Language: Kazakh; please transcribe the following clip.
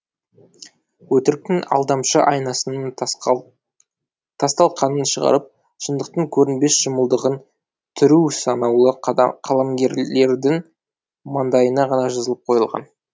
өтіріктің алдамшы айнасының тасталқанын шығарып шындықтың көрінбес шымылдығын түру санаулы қаламгерлердің маңдайына ғана жазылып қойылған